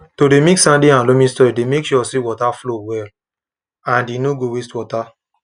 to dey mix sandy and loamy soil dey make sure say water flow well and e no go waste water